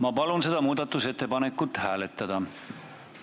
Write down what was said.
Ma palun seda muudatusettepanekut hääletada!